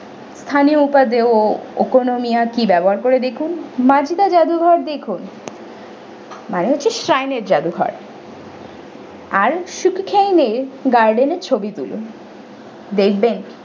sthaneopabeyookomaniaki ব্যবহার করে দেখুন majida জাদুঘর দেখুন মানে হচ্ছে shrine এর জাদুঘর আর sukhna megarden এ ছবি তুলুন দেখবেন।